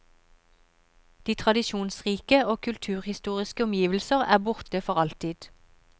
De tradisjonsrike og kulturhistoriske omgivelser er borte for alltid.